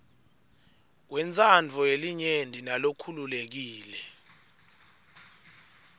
wentsandvo yelinyenti nalokhululekile